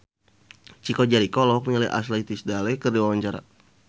Chico Jericho olohok ningali Ashley Tisdale keur diwawancara